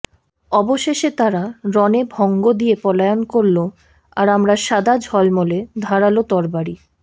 অবশেষে তারা রণে ভংগ দিয়ে পলায়ন করল আর আমরা সাদা ঝলমলে ধারাল তরবারি